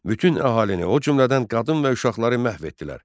Bütün əhalini, o cümlədən qadın və uşaqları məhv etdilər.